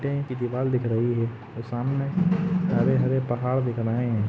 इत है दीवाल दिखक् रही है सामने हरे- हरे पहाड़ दिख रहे है।